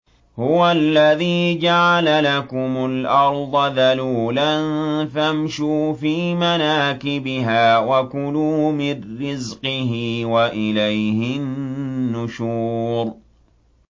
هُوَ الَّذِي جَعَلَ لَكُمُ الْأَرْضَ ذَلُولًا فَامْشُوا فِي مَنَاكِبِهَا وَكُلُوا مِن رِّزْقِهِ ۖ وَإِلَيْهِ النُّشُورُ